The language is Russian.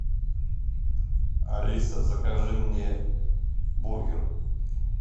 алиса закажи мне бургер